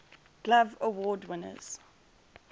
glove award winners